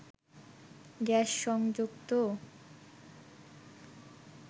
gas সংযোগ তো